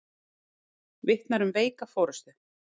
Vitnar um veika forystu